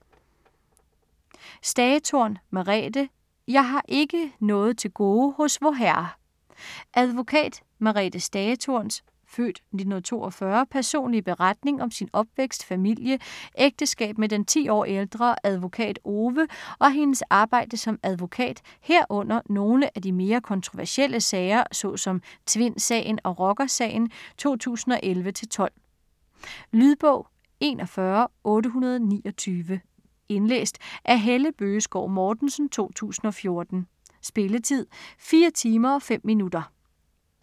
Stagetorn, Merethe: Jeg har ikke noget til gode hos Vorherre Advokat Merethe Stagetorns (f. 1942) personlige beretning om sin opvækst, familie, ægteskab med den 10 år ældre advokat Ove og hendes arbejde som advokat, herunder nogle af de mere kontroversielle sager så som Tvindsagen og Rockersagen 2011-12. Lydbog 41829 Indlæst af Helle Bøgeskov Mortensen, 2014. Spilletid: 4 timer, 5 minutter.